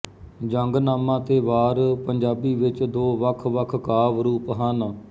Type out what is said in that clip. ਜੰਗਨਾਮਾ ਤੇ ਵਾਰ ਪੰਜਾਬੀ ਵਿੱਚ ਦੋ ਵੱਖਵੱਖ ਕਾਵਿ ਰੂਪ ਹਨ